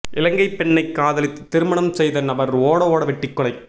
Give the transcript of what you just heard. இலங்கை பெண்ணை காதலித்து திருமணம் செய்த நபர் ஓட ஓட வெட்டி கொலை